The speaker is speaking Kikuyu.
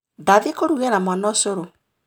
Ndathiĩ kũrugĩra mwana ũcũrũ